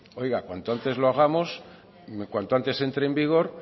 oiga cuanto antes lo hagamos cuanto antes entre en vigor